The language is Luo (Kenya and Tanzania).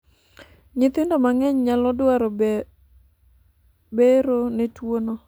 nyithindo mang'eny nyalo dwaro bero ne tuo'no